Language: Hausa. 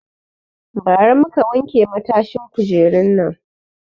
Ba ra muka wanke matashin kujerun nan